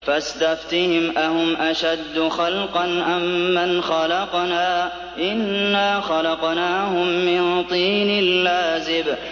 فَاسْتَفْتِهِمْ أَهُمْ أَشَدُّ خَلْقًا أَم مَّنْ خَلَقْنَا ۚ إِنَّا خَلَقْنَاهُم مِّن طِينٍ لَّازِبٍ